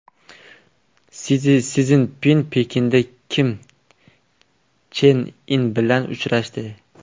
Si Szinpin Pekinda Kim Chen In bilan uchrashdi.